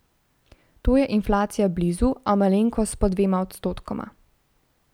To je inflacija blizu, a malenkost pod dvema odstotkoma.